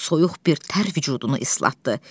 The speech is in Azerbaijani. Soyuq bir tər vücudunu islatdı.